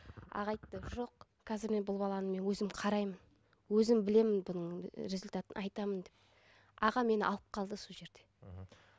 аға айтты жоқ қазір мен бұл баланы мен өзім қараймын өзім білемін бұның ы результатын айтамын деп аға мен алып қалды сол жерде мхм